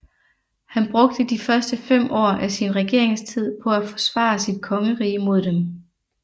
Han brugte de første fem år af sin regeringstid på at forsvare sit kongerige mod dem